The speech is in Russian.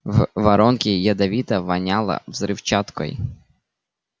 в воронке ядовито воняло взрывчаткой